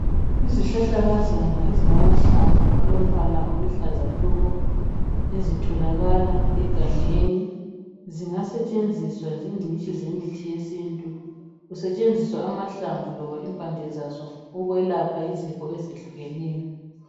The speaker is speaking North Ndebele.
Izihlahlakazana ezilamahlamvu alombala oluhlaza tshoko ezitholakala egangeni. Zingasetshenziswa zingcitshi zemithi yesintu kusetshenziswa amahlamvu loba impande zazo ukwelapha izifo ezehlukeneyo.